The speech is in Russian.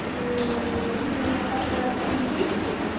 либо у меня хорошо развита интуиция